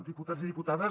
diputats i diputades